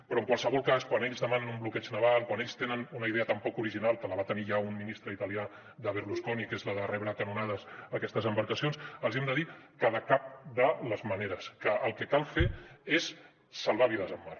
però en qualsevol cas quan ells demanen un bloqueig naval quan ells tenen una idea tan poc original que la va tenir ja un ministre italià de berlusconi que és la de rebre a canonades aquestes embarcacions els hem de dir que de cap de les maneres que el que cal fer és salvar vides al mar